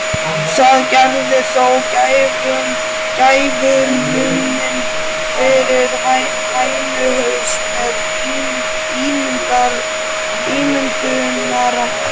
Það gerði þó gæfumuninn fyrir hænuhaus með ímyndunarafl.